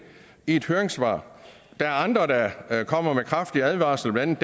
i et høringssvar der er andre der kommer med kraftige advarsler blandt